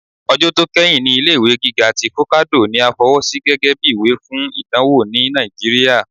Ọjọ tó keyín ní ilé-ìwé gíga tí focado ní à fọwọ́sí gẹgẹbi ìwé fún ìdánwò ní Nàìjíríà.